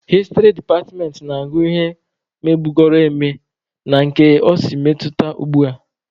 Hịstrị departmentị na-agụ ihe mebugoro eme na ka o si metụta ugbua.